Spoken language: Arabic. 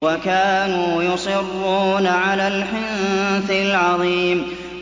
وَكَانُوا يُصِرُّونَ عَلَى الْحِنثِ الْعَظِيمِ